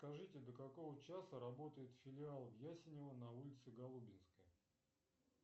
скажите до какого часа работает филиал в ясенево на улице голубинской